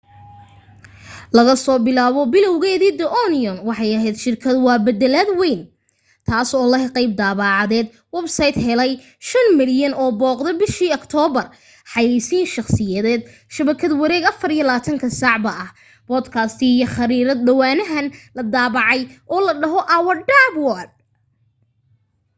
laga soo bilaabo bilowgeedii the onion waxay ahayd shirkad war beddeleed wayn taasoo leh qayb daabacadeed websayt helay 5,000,000 oo booqde bishii aktoobar xayaysiin shakhsiyeed shabakad wareed 24 ka saacba ah boodkaasti iyo khariirad dhowaanahan la daabacay oo la dhaho our dumb world